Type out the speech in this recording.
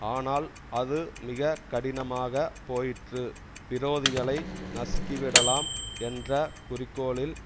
ஆனால் அது மிக கடினமாகப் போயிற்று விரோதிகளை நசுக்கிவிடலாம் என்றகுறிக்கோளில்